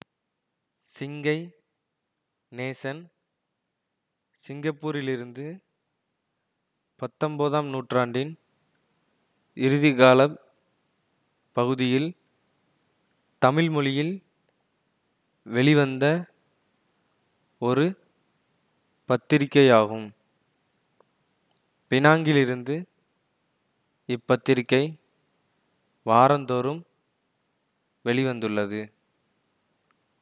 சிங்கை நேசன் சிங்கப்பூரிலிருந்து பத்தொன்பதாம் நூற்றாண்டின் இறுதிக்காலப் பகுதியில் தமிழ்மொழியில் வெளிவந்த ஒரு பத்திரிக்கையாகும் பினாங்கிலிருந்து இப்பத்திரிக்கை வாரம்தோறும் வெளி வந்துள்ளது